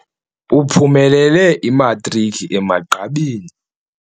Uphumelele imatriki emagqabini.